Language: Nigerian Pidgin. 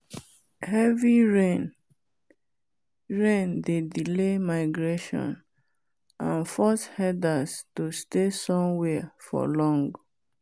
heavy rain rain dey delay migration and force herders to stay somewhere for long